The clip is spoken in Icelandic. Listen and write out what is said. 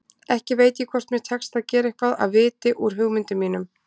Ekki veit ég hvort mér tekst að gera eitthvað af viti úr hugmyndum mínum.